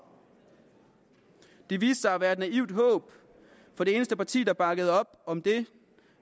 det viste sig at være et naivt håb for det eneste parti der bakkede op om det